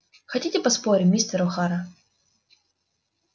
хотите поспорим мистер охара